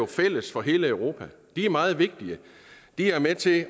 fælles for hele europa de er meget vigtige de er med til